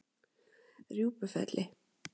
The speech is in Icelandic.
Rjúpufelli